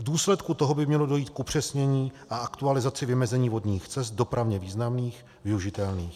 V důsledku toho by mělo dojít k upřesnění a aktualizaci vymezení vodních cest dopravně významných, využitelných.